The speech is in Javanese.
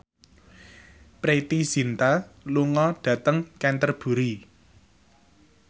Preity Zinta lunga dhateng Canterbury